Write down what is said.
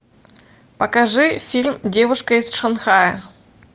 покажи фильм девушка из шанхая